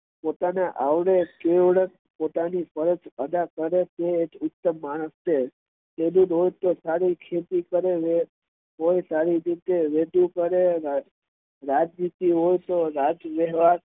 પોતાને આવડે તેવી પોતાની ફરજ અદા કરે તે ઉત્તમ માણસ છે તે સારી રીતે ખેતી કરે સારી રીતે રેદુ કરે